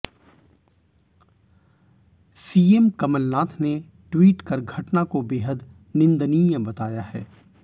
CM Kamalnath ने tweet कर घटना को बेहद निंदनीय बताया है